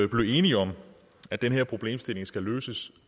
blive enige om at den her problemstilling skal løses